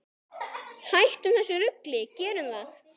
Hættum þessu rugli, gerum það!